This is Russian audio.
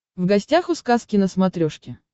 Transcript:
в гостях у сказки на смотрешке